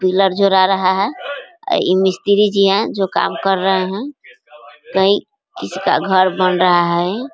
Pillar जुरा रहा है ई मिस्त्री जी यहाँ जो काम कर रहे हैं कहीं किसी का घर बन रहा है यहीं।